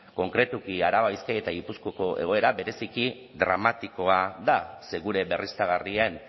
konkretuki araba bizkaia eta gipuzkoako egoera bereziki dramatikoa da ze gure berriztagarrien